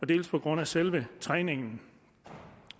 dels på grund af selve træningen